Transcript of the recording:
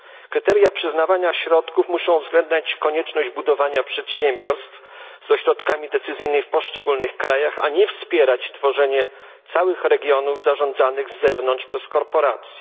Kryteria przyznawania środków muszą uwzględniać konieczność budowania przedsiębiorstw z ośrodkami decyzyjnymi w poszczególnych krajach, a nie wspierać tworzenie całych regionów zarządzanych z zewnątrz przez korporacje.